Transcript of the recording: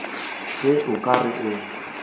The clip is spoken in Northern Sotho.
ge o ka re o